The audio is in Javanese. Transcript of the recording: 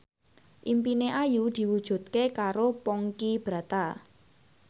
impine Ayu diwujudke karo Ponky Brata